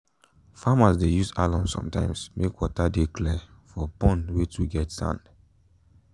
farmers dey use alum sometimes make water de clear for pond wey too get sand